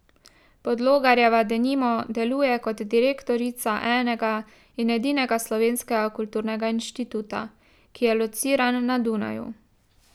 Podlogarjeva denimo deluje kot direktorica enega in edinega slovenskega kulturnega inštituta, ki je lociran na Dunaju.